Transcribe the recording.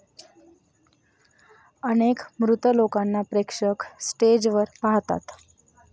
अनेक मृत लोकांना प्रेक्षक स्टेजवर पाहतात.